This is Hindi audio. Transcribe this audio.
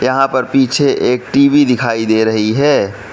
यहां पर पीछे एक टी_वी दिखाई दे रही है।